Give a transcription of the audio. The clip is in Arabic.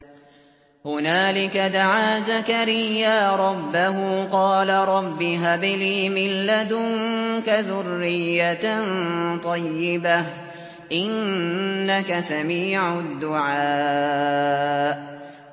هُنَالِكَ دَعَا زَكَرِيَّا رَبَّهُ ۖ قَالَ رَبِّ هَبْ لِي مِن لَّدُنكَ ذُرِّيَّةً طَيِّبَةً ۖ إِنَّكَ سَمِيعُ الدُّعَاءِ